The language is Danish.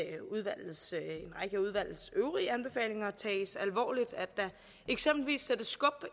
af udvalgets øvrige anbefalinger tages alvorligt at der eksempelvis sættes skub